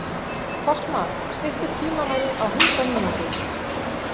Fossmar, stilltu tímamælinn á hundrað mínútur.